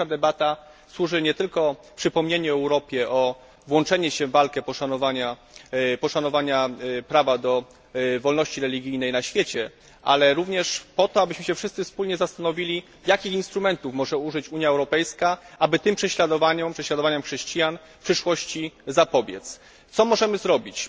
Dzisiejsza debata służy nie tylko przypomnieniu Europie o włączeniu się w walkę o poszanowanie prawa do wolności religijnej na świecie, ale również temu, abyśmy się wszyscy wspólnie zastanowili, jakich instrumentów może użyć Unia Europejska, aby tym prześladowaniom, prześladowaniom chrześcijan, w przyszłości zapobiec. Co możemy zrobić?